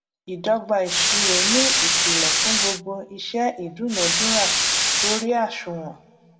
ìdọgba ìṣirò ni ìpìlè fún gbogbo iṣẹ ìdúnadúrà lórí àṣùwòn